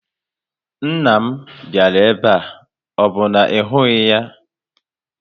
Nna m bịara ebe a, ọ bụ na ị hụghị ya?